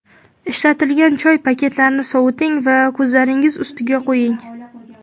Ishlatilgan choyli paketchalarni soviting va ko‘zlaringiz ustiga qo‘ying.